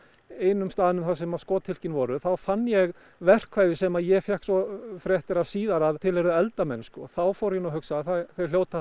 einum staðnum sem að skothylkin voru þá fann ég verkfæri sem ég fékk svo fréttir af síðar að tilheyrðu eldamennsku þá fór ég að hugsa þeir hljóta að hafa